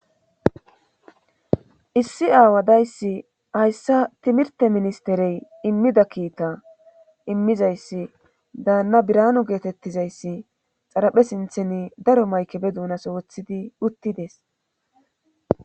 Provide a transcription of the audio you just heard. issi aawadayssi hayssa timirte ministerey immida kiita immizayssi daanna biranu geetettizayssi xaraphe sinthen daro maykebe duunaso woththidi uttides